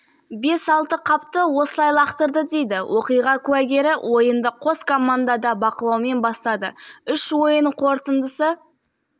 алғашқы сот отырысынан-ақ сотталушыларға алқа билердің қажеттілігі болмады сондықтан прокурор екі азаматқа тағылған айыппен таныстырды прокурордың